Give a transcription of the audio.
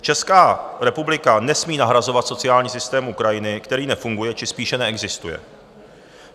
Česká republika nesmí nahrazovat sociální systém Ukrajiny, který nefunguje či spíše neexistuje.